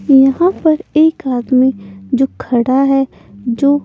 यहां पर एक आदमी जो खड़ा है जो--